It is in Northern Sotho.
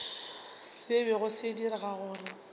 se bego se dira gore